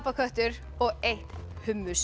apaköttur og eitt